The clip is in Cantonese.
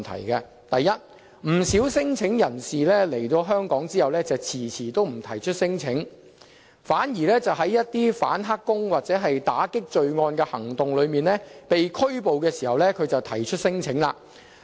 第一個問題是，不少聲請人士來港後遲遲不提出聲請，反而在一些反"黑工"或打擊罪案的行動中被拘捕時才提出免遣返聲請。